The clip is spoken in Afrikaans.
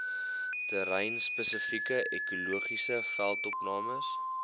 terreinspesifieke ekologiese veldopnames